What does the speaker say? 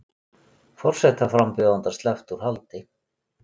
Forsetaframbjóðanda sleppt úr haldi